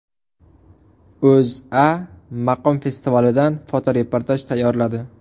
O‘zA maqom festivalidan fotoreportaj tayyorladi .